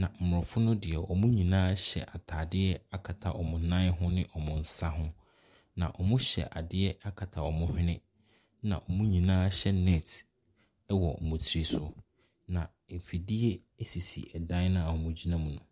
Na Mmorɔfo no deɛ wɔn nyinaa ahyɛ ataadeɛ akata wɔn nan ho ne wɔn nsa ho. Na wɔhyɛ adeɛ akata wɔn hwene. ℇna wɔn nyinaa hyɛ net wɔ wɔn tiri so. Na afidie sisi ɛdan no a wɔgyina mu no.